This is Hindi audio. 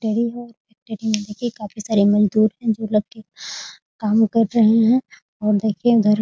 फेक्टरी है फेक्टरी में देखिए काफी सारे मजदुर हैं जो लड़के काम कर रहे हैं और देखिए उधर --